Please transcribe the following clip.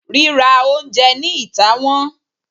rira oúnjẹ ni itá wón